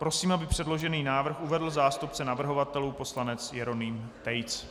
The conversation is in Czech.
Prosím, aby předložený návrh uvedl zástupce navrhovatelů poslanec Jeroným Tejc.